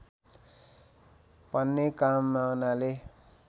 भन्ने कामनाले